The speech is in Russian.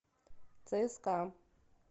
цска